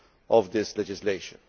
of this legislation.